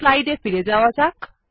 স্লাইডে ফিরে যাওয়া যাক